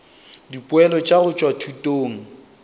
dipoelo tša go tšwa thutong